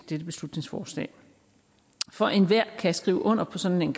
dette beslutningsforslag for enhver kan skrive under på sådan en